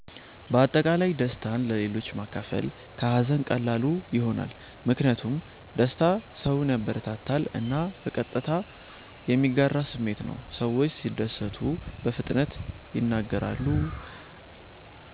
በአጠቃላይ ደስታን ለሌሎች ማካፈል ከሀዘን ቀላሉ ይሆናል። ምክንያቱም ደስታ ሰውን ያበረታታል እና በቀጥታ የሚጋራ ስሜት ነው። ሰዎች ሲደሰቱ በፍጥነት ይናገራሉ፣